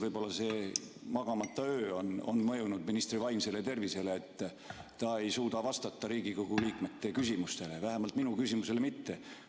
Võib-olla see magamata öö on mõjunud ministri vaimsele tervisele, et ta ei suuda vastata Riigikogu liikmete küsimustele, vähemalt minu küsimusele mitte.